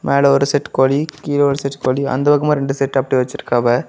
மேல ஒரு செட் கோழி கீழ ஒரு செட் கோழி அந்த பக்கமா ரெண்டு செட் அப்டியே வச்சிருக்காவ.